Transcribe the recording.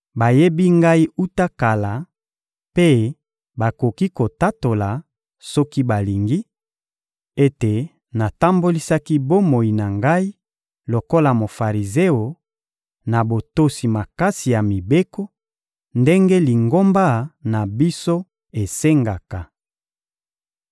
Bayebi ngai wuta kala mpe bakoki kotatola, soki balingi, ete natambolisaki bomoi na ngai lokola Mofarizeo, na botosi makasi ya mibeko, ndenge lingomba na biso esengaka.